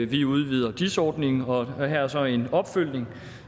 vi udvider dis ordningen og her er så en opfølgning